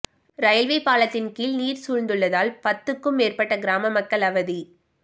railway பாலத்தின் கீழ் நீர் சூழ்ந்துள்ளதால் பத்துக்கும் மேற்பட்ட கிராம மக்கள் அவதி